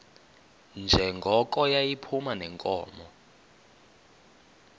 njengoko yayiphuma neenkomo